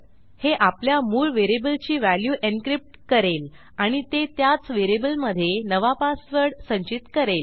हे आपल्या मूळ व्हेरिएबलची व्हॅल्यू एन्क्रिप्ट करेल आणि ते त्याच व्हेरिएबलमधे नवा पासवर्ड संचित करेल